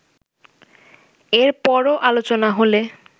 এর পরও আলোচনা হলে